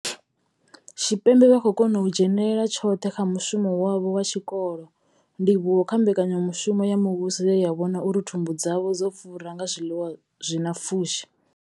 Tshipembe vha khou kona u dzhenela tshoṱhe kha mushumo wavho wa tshikolo, ndivhuwo kha mbekanyamushumo ya muvhuso ye ya vhona uri thumbu dzavho dzo fura nga zwiḽiwa zwi na pfushi.